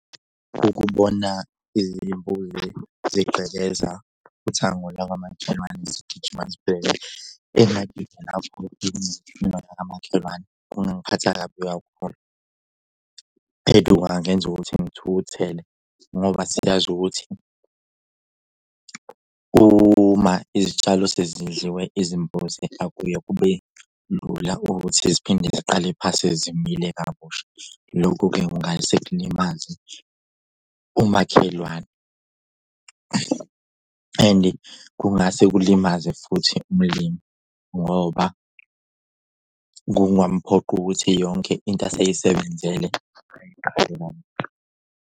Ukubona izimbuzi zigqekeza uthango lakamakhelwane zigijima zibheke engadini lapho kunemfino yakamakhelwane. Kungangiphatha kabi kakhulu and kungangenza ukuthi ngithukuthele ngoba siyazi ukuthi uma izitshalo sezidliwe izimbuzi akuye kube lula ukuthi ziphinde ziqale phansi zimile kabusha. Lokhu-ke kungase kulimaze umakhelwane and-i kungase kulimaze futhi umlimi ngoba kuyamuphoqa ukuthi yonke into aseyisebenzele .